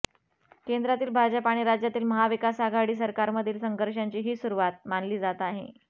केंद्रातील भाजप आणि राज्यातील महाविकास आघाडी सरकारमधील संघर्षांची ही सुरुवात मानली जात आहे